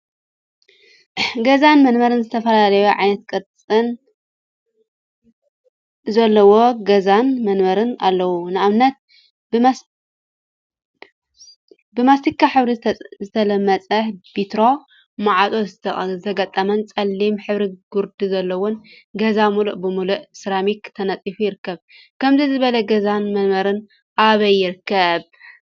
ገዛን መንበሪን ዝተፈላለዩ ዓይነትን ቅርፂን ዘለዎም ገዛን መንበሪን አለው፡፡ ንአብነት ብማስቲካ ሕብሪ ዝተለመፀ ፤ቢትሮ ማዕፆ ዝተገጠሞን ፀሊም ሕብሪ ግሪድ ዘለዎን ገዛ ሙሉእ ብሙሉእ ሰራሚክ ተነፂፉ ይርከብ፡፡ ከምዚ ዝበለ ገዛን መንበሪን አበይ ይርከብ?